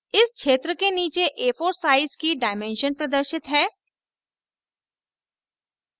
इस क्षेत्र के नीचे a4 size की डायमेंशन प्रदर्शित हैं